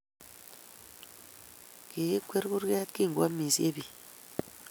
Kigikwer kurget kingoamishe biik